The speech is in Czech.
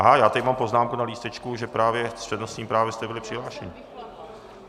Aha, já tady mám poznámku na lístečku, že právě s přednostním právem jste byli přihlášeni.